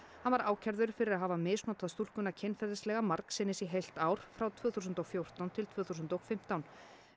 hann var ákærður fyrir að hafa misnotað stúlkuna kynferðislega margsinnis í heilt ár frá tvö þúsund og fjórtán til tvö þúsund og fimmtán